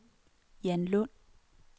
Jan Lund